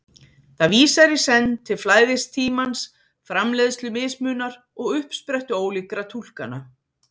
Það vísar í senn til flæðis tímans, framleiðslu mismunar og uppsprettu ólíkra túlkana.